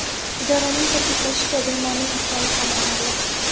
Idoraning ta’kidlashicha, bemorning ahvoli qoniqarli.